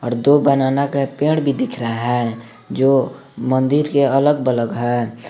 और दो बनाना का पेड़ भी दिख रहा है जो मंदिर के अलग बलग है।